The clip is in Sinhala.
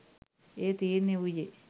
එය තීරණය වූයේ